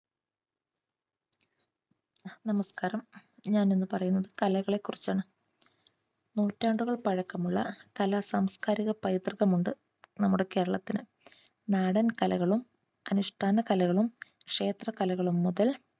നമസ്കാരം! ഞാൻ ഇന്ന് പറയുന്നത് കലകളെകുറിച്ചാണ്. നൂറ്റാണ്ടുകൾ പഴക്കമുള്ള കലാ സാംസ്‌കാരിക പൈതൃകമുണ്ട് നമ്മുടെ കേരളത്തിന്. നാടൻ കലകളും അനുഷ്ഠാന കലകളും ക്ഷേത്ര കലകളും മുതൽ